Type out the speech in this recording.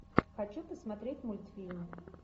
хочу посмотреть мультфильм